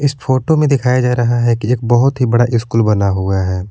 इस फोटो में दिखाया जा रहा है कि एक बहुत ही बड़ा स्कूल बना हुआ है।